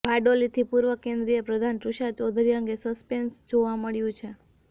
બારડોલીથી પૂર્વ કેન્દ્રીય પ્રધાન તુષાર ચૌધરી અંગે સસ્પેન્સ જોવા મળ્યું છે